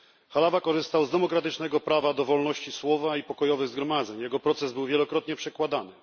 Halawa korzystał z demokratycznego prawa do wolności słowa i pokojowych zgromadzeń. Jego proces był wielokrotnie przekładany.